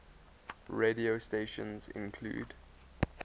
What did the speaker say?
radio stations include